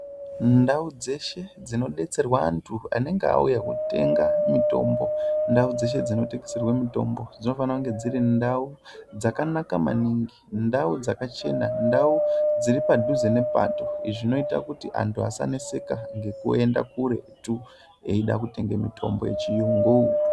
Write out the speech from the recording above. Ndau dzeshe dzinodetserwa antu anenge auya kotenga mitombo, ndau dzeshe dzinotengeserwe mitombo dzinofana kunge dziri ndau dzakanaka maningi, ndau dzachena, ndau dziri padhuze nepato, izvi zvinoita kuti antu asanetseka ngekuenda kuretu eida kutenga mitombo yechiyungu.